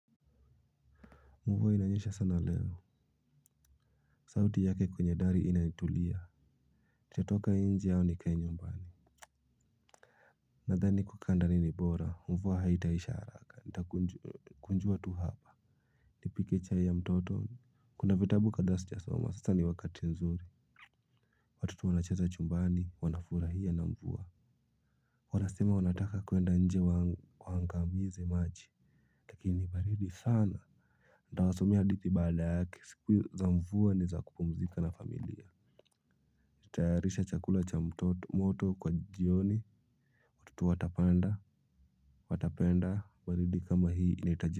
Mvua inanyesha sana leo. Sauti yake kwenye dari inaitulia nitatoka inje au nikae nyumbani. Nadhani kukaa ndani ni bora mvua haitaisha haraka nitakunjua tu hapa. Nipike chai ya mtoto. Kuna vitabu kadhaa sijasoma sasa ni wakati nzuri. Watoto wanacheza chumbani wanafurahia na mvua. Wanasema wanataka kwenda nje wang waangamize maji lakini ni baridi sana. Nitawasomea hadithi baada yake siku za mvua ni za kupumzika na familia. Nitayarishe chakula cha mtoto moto kwa jioni kitu watapanda watapenda balidi kama hii inaitaji.